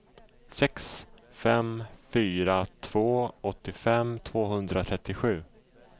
sex fem fyra två åttiofem tvåhundratrettiosju